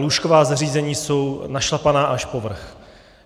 Lůžková zařízení jsou našlapaná až po vrch.